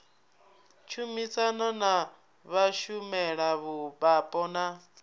tshumisano na vhashumela vhapo na